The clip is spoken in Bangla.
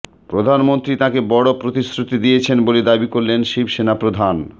প্রধানমন্ত্রী তাঁকে বড় প্রতিশ্রুতি দিয়েছেন বলে দাবি করলেন শিবসেনা প্রধান